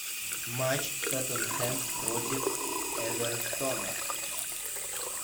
матч тоттенхэм против эвертона